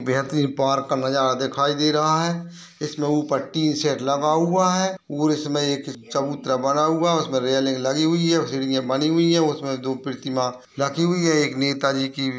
बेहतरीन पार्क का नजारा दिखाई दे रहा है। इसमें ऊपर टिन शेड लगा हुआ है और इसमें एक चबूतरा बना हुआ है उसमे रेलिंग लगी हुई है सीढियां बनी हुई हैं उसमे दो प्रतिमा रखी हुई है एक नेता जी कि --